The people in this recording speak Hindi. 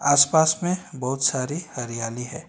आसपास में बहुत सारी हरियाली है।